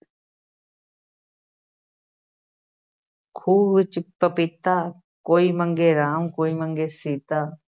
ਖੂਹ ਵਿੱਚ ਪਪੀਤਾ ਕੋਈ ਮੰਗੇ ਰਾਮ ਕੋਈ ਮੰਗੇ ਸੀਤਾ।